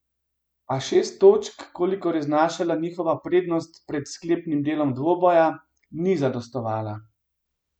A šest točk, kolikor je znašala njihova prednost pred sklepnim delom dvoboja, ni zadostovala.